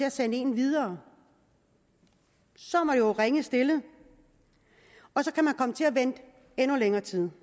at sende en videre så er man jo ringe stillet og så kan man komme til at vente i endnu længere tid